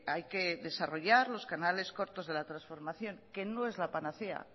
hay que desarrollar los canales cortos de la transformación que no es la panacea